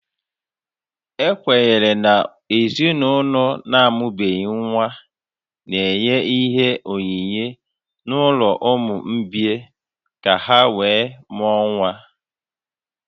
Ekwenyere na ezinaụlọ na-amụghị nwa n'enye onyinye n'ụlọ ụmụ mgbei ka ha wee mụọ nwa